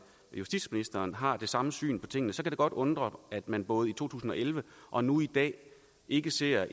justititsministeren har det samme syn på tingene kan det godt undre at man både i to tusind og elleve og nu i dag ikke ser